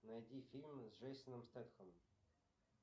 найди фильмы с джейсоном стетхемом